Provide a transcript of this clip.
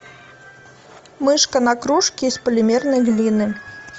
мышка на кружке из полимерной глины